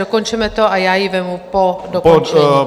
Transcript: Dokončeme to a já ji vezmu po dokončení.